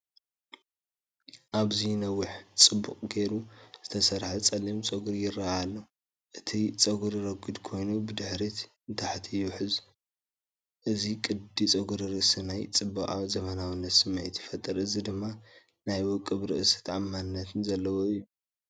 ኣብዚ ነዊሕን ጽቡቕ ጌሩ ዝተሰርሐን ጸሊም ፀጉሪ ይርአ ኣሎ። እቲ ፀጉሪ ረጒድ ኮይኑ ብድሕሪት ንታሕቲ ይውሕዝ። እዚ ቅዲ ጸጉሪ ርእሲ ናይ ጽባቐን ዘመናዊነትን ስምዒት ይፈጥር። እዚ ድማ ናይ ውቁብን ርእሰ ተኣማንነትን ዘለዎ እዩ።